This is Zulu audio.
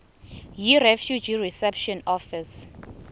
yirefugee reception office